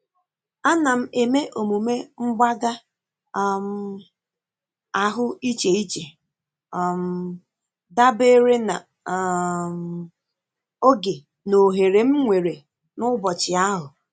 Ana m eme omume mgbaga um ahụ iche iche um dabere na um oge na ohere m nwere n'ụbọchị ahụ.